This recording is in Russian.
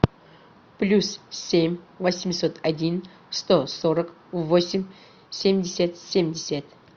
плюс семь восемьсот один сто сорок восемь семьдесят семьдесят